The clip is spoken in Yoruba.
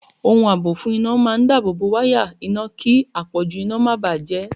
Ohun àbò fún iná máa dáábòbò wáyà iná kí àpọ̀jù iná máa bà á jẹ́.